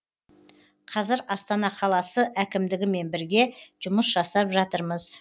қазір астана қаласы әкімдігімен бірге жұмыс жасап жатырмыз